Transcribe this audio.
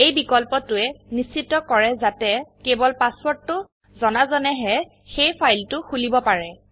এই বিকল্পটোয়ে নিশ্চিত কৰে যাতে কেবল পাসওয়াৰ্ডটো জনাজনেহে সেই ফাইলটো খুলিব পাৰে